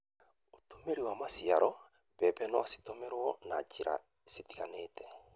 ũtũmĩri wa maciaro: Mbembe no citũmĩrwo na njĩra citiganĩte,